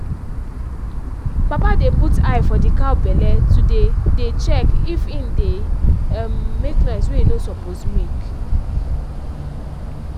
papa dey put eye for the cow belle to dey dey check if en deg um make noise wey e no suppose make